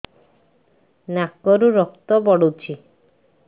ନାକରୁ ରକ୍ତ ପଡୁଛି